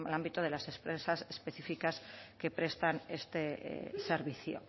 ámbito de las empresas específicas que prestan este servicio